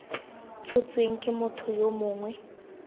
tshotsweng ke motho yo mongwe